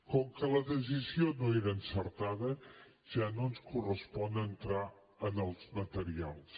com que la decisió no era encertada ja no ens correspon entrar en els materials